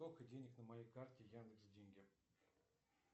сколько денег на моей карте яндекс деньги